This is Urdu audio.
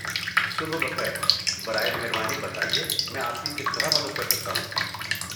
صبح بخیر، برائے مہربانی بتائیے میں آپ کی کس طرح مدد کر سکتا ہوں؟